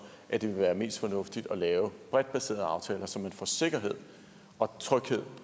at det vil være mest fornuftigt at lave bredt baserede aftaler så man får sikkerhed og tryghed